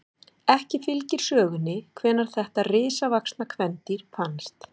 Ekki fylgir sögunni hvenær þetta risavaxna kvendýr fannst.